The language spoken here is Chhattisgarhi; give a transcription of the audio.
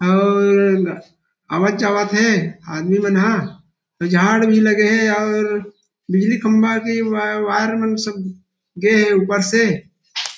और आवत जावत हे आदमी मन ह झाड़ भी लगे हे और बिजली खम्भा के वायर मन सब गे हे ऊपर से--